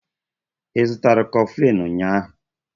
Ị zụtara koflinu ụnyahụ?